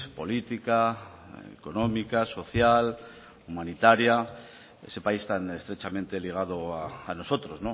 política económica social humanitaria ese país tan estrechamente ligado a nosotros